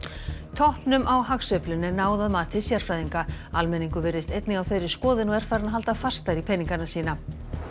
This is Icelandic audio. toppnum á hagsveiflunni er náð að mati sérfræðinga almenningur virðist einnig á þeirri skoðun og er farinn að halda fastar í peningana sína